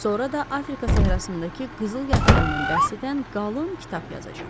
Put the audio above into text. Sonra da Afrika səhrasındakı qızıl yatağından bəhs edən qalın kitab yazacaq.